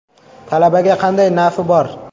Talabaga qanday nafi bor?